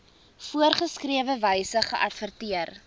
voorgeskrewe wyse geadverteer